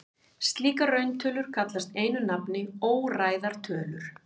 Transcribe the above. Slíkar rauntölur kallast einu nafni óræðar tölur.